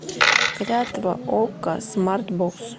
клятва окко смарт бокс